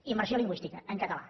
immersió lingüística en català